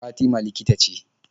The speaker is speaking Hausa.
Fatima likita ce.